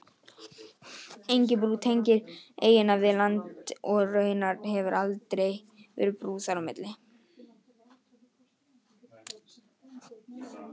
Engin brú tengir eyjuna við land og raunar hefur aldrei verið brú þar á milli.